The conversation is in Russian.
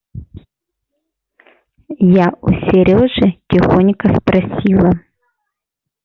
я у серёжи тихонько спросила